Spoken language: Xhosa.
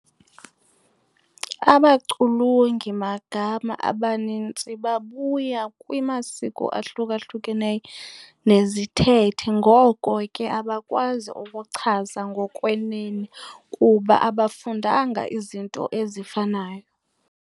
Abaculungi magama abanintsi babuya kwimasiko ahlukahlukeneyo nezithethe ngoko ke abakwazi ukuchaza ngokwenene kuba abafundanga izinto ezifanayo.